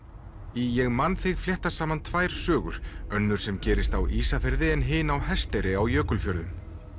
í ég man þig fléttast saman tvær sögur önnur sem gerist á Ísafirði en hin á Hesteyri í Jökulfjörðum